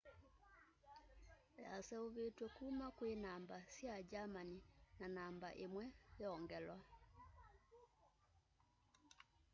yaseuvitw'e kuma kwi namba sya germany na namba imwe ~o/~o” yongelwa